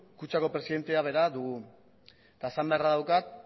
kutxako presidentea bera dugu eta esan beharra daukat